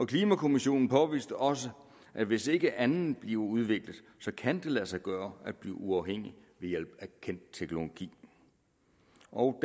klimakommissionen påviste også at hvis ikke andet bliver udviklet kan det lade sig gøre at blive uafhængig ved hjælp af kendt teknologi og